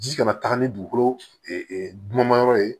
Ji kana taaga ni dugukolo dunmayɔrɔ ye